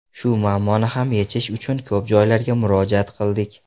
Shu muammoni ham yechish uchun ko‘p joylarga murojaat qildik.